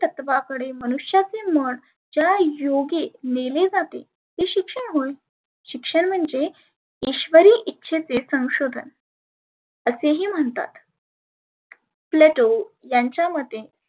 तत्वावरी मनुष्याचे मन ज्या योगी नेले जाते ते शिक्षण होय. शिक्षण म्हणजे इश्वरी इच्छेचे संशोधन. असेही म्हणतात. plato यांच्या मते